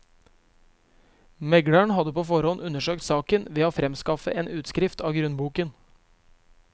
Megleren hadde på forhånd undersøkt saken ved å fremskaffe en utskrift av grunnboken.